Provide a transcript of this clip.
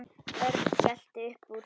Örn skellti upp úr.